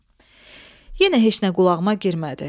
Yenə heç nə qulağıma girmədi.